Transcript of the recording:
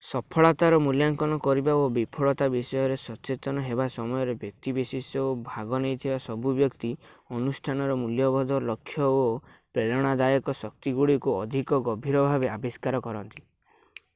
ସଫଳତାର ମୂଲ୍ୟାଙ୍କନ କରିବା ଓ ବିଫଳତା ବିଷୟରେ ସଚେତନ ହେବା ସମୟରେ ବ୍ୟକ୍ତିବିଶେଷ ଓ ଭାଗ ନେଇଥିବା ସବୁ ବ୍ୟକ୍ତି ଅନୁଷ୍ଠାନର ମୂଲ୍ୟବୋଧ ଲକ୍ଷ୍ୟ ଓ ପ୍ରେରଣାଦାୟକ ଶକ୍ତିଗୁଡ଼ିକୁ ଅଧିକ ଗଭୀର ଭାବେ ଆବିଷ୍କାର କରନ୍ତି